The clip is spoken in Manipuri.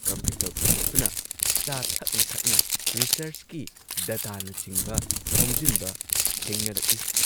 ꯀꯝꯄ꯭ꯌꯨꯇꯔ ꯄꯨꯊꯣꯛꯇꯨꯅ ꯆꯥ ꯊꯛꯅ ꯊꯛꯅ ꯔꯤꯁꯔꯆꯀꯤ ꯗꯇꯥꯅꯆꯤꯡꯕ ꯈꯣꯝꯖꯤꯟꯕ ꯊꯦꯡꯅꯔꯛꯏ ꯫